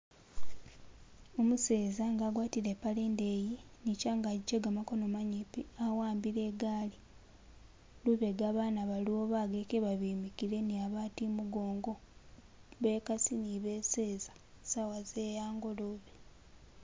Umuseza nga agwatile ipale indeyi ni changagi chegamakono manyipi awambile igaali lubega bana baliwo bageke babimikile ni babandi imugongo bekasi ni beseza sawa ze hangolobe.